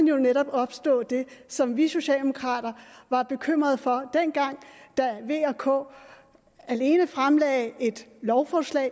jo netop opstå det som vi socialdemokrater var bekymrede for dengang da v og k alene fremlagde et lovforslag